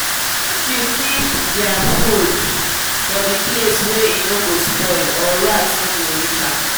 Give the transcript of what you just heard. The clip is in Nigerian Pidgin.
make u keep their food for the place wa eno go spoil or rat no go reach am